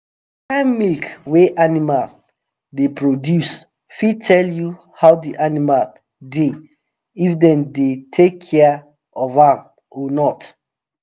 dey kind milk wey animal dey produce fit tell you how de animal dey if dem dey take care of am or not